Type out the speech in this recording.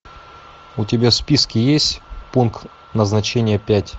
у тебя в списке есть пункт назначения пять